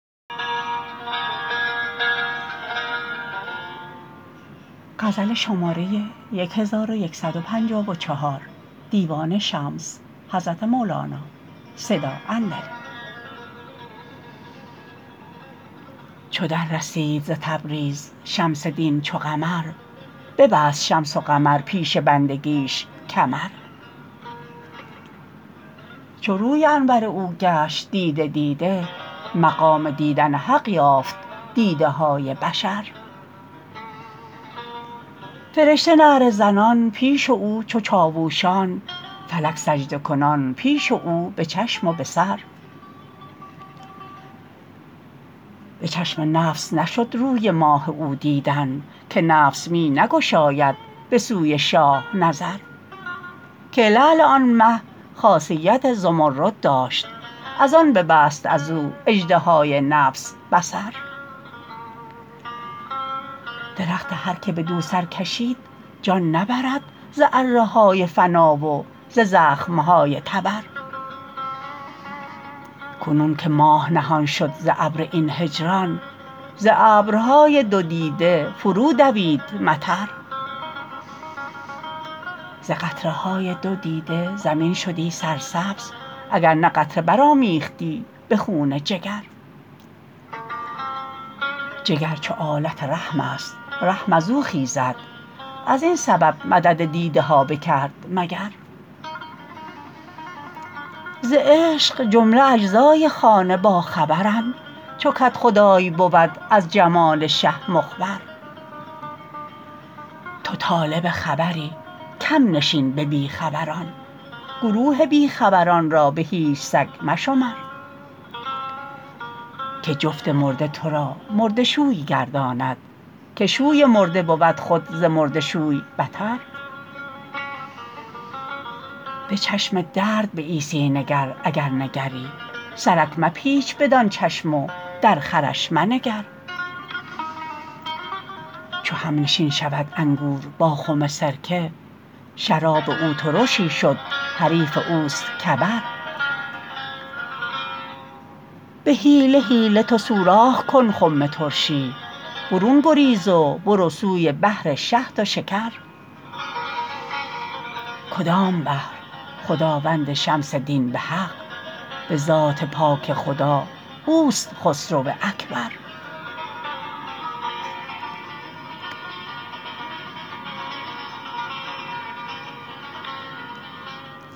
چو دررسید ز تبریز شمس دین چو قمر ببست شمس و قمر پیش بندگیش کمر چو روی انور او گشت دیده دیده مقام دیدن حق یافت دیده های بشر فرشته نعره زنان پیش او چو چاوشان فلک سجودکنان پیش او به چشم و به سر به چشم نفس نشد روی ماه او دیدن که نفس می نگشاید به سوی شاه نظر که لعل آن مه خاصیت زمرد داشت از آن ببست از او اژدهای نفس به صبر درخت هر که بدو سر کشید جان نبرد ز اره های فنا و ز زخمه های تبر کنون که ماه نهان شد ز ابر این هجران ز ابرهای دو دیده فرودوید مطر ز قطره های دو دیده زمین شدی سرسبز اگر نه قطره برآمیختی به خون جگر جگر چو آلت رحمست رحم از او خیزد از این سبب مدد دیده ها بکرد مگر ز عشق جمله اجزای خانه باخبرند چو کدخدای بود از جمال شه مخبر تو طالب خبری کم نشین به بی خبران گروه بی خبران را به هیچ سگ مشمر که جفت مرده تو را مرده شوی گرداند که شوی مرده بود خود ز مرده شوی بتر به چشم درد به عیسی نگر اگر نگری سرک مپیچ بدان چشم و در خرش منگر چو همنشین شود انگور با خم سرکه شراب او ترشی شد حریف اوست کبر به حیله حیله تو سوراخ کن خم ترشی برون گریز و برو سوی بحر شهد و شکر کدام بحر خداوند شمس دین به حق به ذات پاک خدا اوست خسرو اکبر